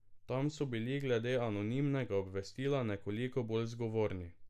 Tam so bili glede anonimnega obvestila nekoliko bolj zgovorni.